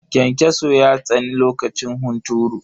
Kyankyaso ya tsani lokacin hunturu.